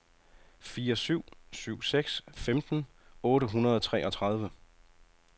fire syv syv seks femten otte hundrede og treogtredive